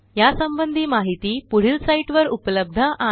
या संबंधी माहिती पुढील साईटवर उपलब्ध आहे